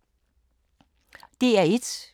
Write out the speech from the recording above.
DR1